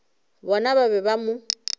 bona ba be ba mo